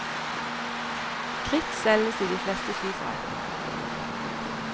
Kritt selges i de fleste syforretninger.